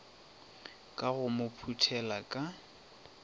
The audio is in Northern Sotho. ka go mo phuthela ka